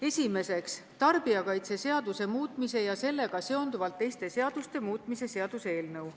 Esimeseks, tarbijakaitseseaduse muutmise ja sellega seonduvalt teiste seaduste muutmise seaduse eelnõu.